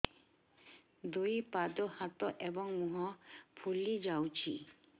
ଦୁଇ ପାଦ ହାତ ଏବଂ ମୁହଁ ଫୁଲି ଯାଉଛି